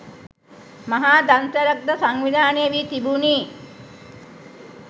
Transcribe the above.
මහා දන්සැලක් ද සංවිධානය වී තිබුනි